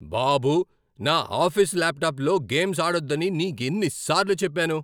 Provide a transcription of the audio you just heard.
బాబూ, నా ఆఫీసు ల్యాప్టాప్లో గేమ్స్ ఆడొద్దని నీకెన్నిసార్లు చెప్పాను?